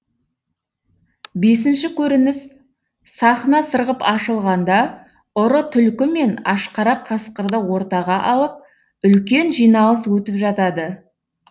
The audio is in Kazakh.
бесінші көрініс сахна сырғып ашылғанда ұры түлкі мен ашқарақ қасқырды ортаға алып үлкен жиналыс өтіп жатады